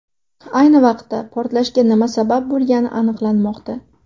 Ayni vaqtda portlashga nima sabab bo‘lgani aniqlanmoqda.